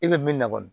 E bɛ min na kɔni